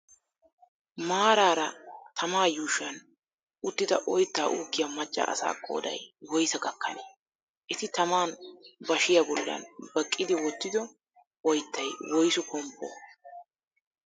Maaraara tama yushuwan uttidi oyitta uukkiya macca asa qoodayi woyisaa gakkanee? Eti taman bashiyaa bullan baqqidi wottido oyittay woyisu komppoo?